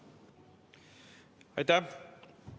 Aitäh!